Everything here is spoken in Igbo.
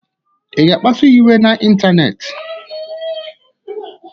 Ị ga-akpasuya iwe n'ịntanetị?